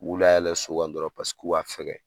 U layɛlɛ so kan dɔrɔn pase k'u ka fɛgɛ